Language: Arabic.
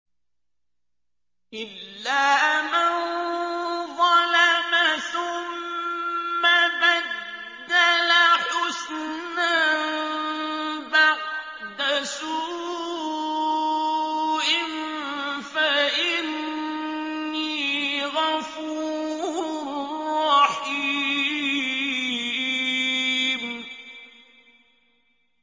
إِلَّا مَن ظَلَمَ ثُمَّ بَدَّلَ حُسْنًا بَعْدَ سُوءٍ فَإِنِّي غَفُورٌ رَّحِيمٌ